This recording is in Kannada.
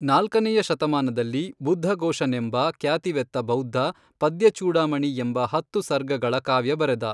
ನಾಲ್ಕನೆಯ ಶತಮಾನದಲ್ಲಿ, ಬುದ್ಧಘೋಷನೆಂಬ ಖ್ಯಾತಿವೆತ್ತ ಬೌದ್ಧ ಪದ್ಯ ಚೂಡಾಮಣಿ ಎಂಬ ಹತ್ತು ಸರ್ಗಗಳ ಕಾವ್ಯ ಬರೆದ.